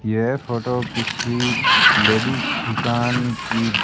यह फोटो किसी लेडिस दुकान की-ये